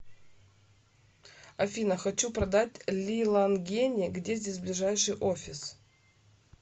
афина хочу продать лилангени где здесь ближайший офис